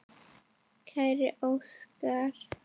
Kæri Óskar.